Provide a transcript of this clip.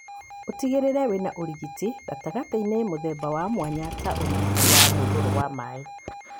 Ũtĩgĩrĩre wĩna ũrigiti, gatagatĩinĩ mũthemba wa mwanya ta ũrigiti wa mũihũro wa maĩ.